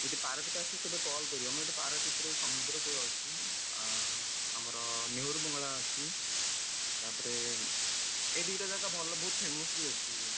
ଯଦି ପାରାଦ୍ୱୀପ ଆସିବ କେବେ call କରିବ, ଆମ ଏଠି ପାରାଦ୍ୱୀପରେ ସମୁଦ୍ର କୂଳ ଅଛି, ଆଁ, ଆମର ନେହୁରୁ ବଙ୍ଗଳା ଅଛି, ତାପରେ, ଏ ଦିଟା ଜାଗା ଭଲ ବହୁତ୍ famous ବି ଅଛି।